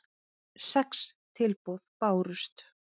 Sex tilboð bárust.